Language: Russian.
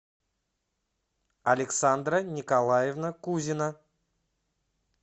александра николаевна кузина